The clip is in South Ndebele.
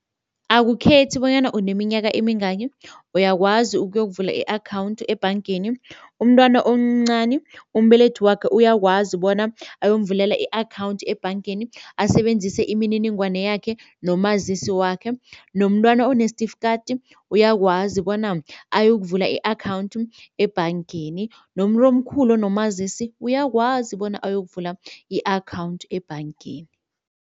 Akukhethi bonyana uneminyaka emingaki, uyakwazi ukuyokuvula i-akhawundi ebhangeni. Umntwana omncani umbelethi wakhe uyakwazi bona ayomvulela i-akhawundi ebhangeni asebenzise imininingwana yakhe nomazisi wakhe, nomntwana onesitifikati uyakwazi bona ayokuvula i-akhawundi ebhangeni, nomuntu omkhulu nomazisi uyakwazi bona ayokuvula i-akhawundi ebhangeni.